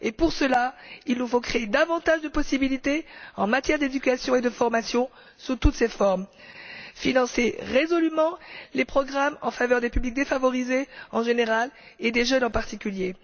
Il nous faut pour cela créer davantage de possibilités en matière d'éducation et de formation sous toutes leurs formes, financer résolument les programmes en faveur des publics défavorisés en général et des jeunes en particulier.